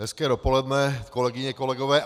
Hezké dopoledne, kolegyně, kolegové.